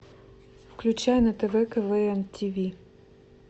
включай на тв квн тиви